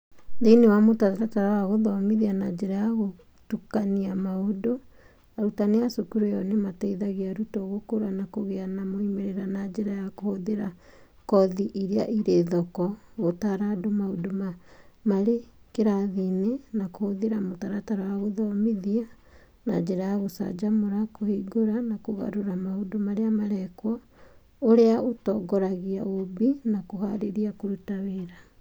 Thĩinĩ wa mũtaratara wa gũthomithia na njĩra ya gũtukania maũndũ, arutani a cukuru ĩyo nĩ mateithagia arutwo gũkũra na kũgĩa na moimĩrĩra na njĩra ya kũhũthĩra kothi iria irĩ thoko, gũtara andũ maũndũ marĩ kĩrathi-inĩ, na kũhũthĩra mũtaratara wa gũthomithi na njĩra ya gũcanjamũra, kũhingũra, na kũgarũra maũndũ marĩa marekwo, ũrĩa ũtongoragia ũũmbi na kũhaarĩria kũruta wĩra.